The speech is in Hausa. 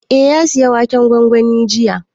Eh, ya saya waken gwangwanin jiya